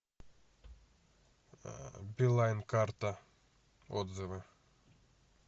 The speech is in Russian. билайн карта отзывы